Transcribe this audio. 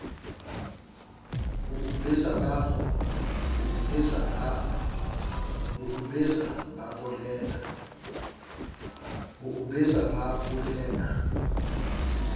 ho o besa ba polela